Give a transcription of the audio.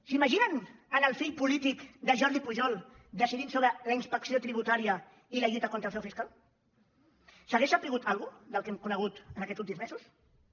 s’imaginen el fill polític de jordi pujol decidint sobre la inspecció tributària i la lluita contra el frau fiscal s’hauria sabut alguna cosa del que hem conegut en aquests últims mesos no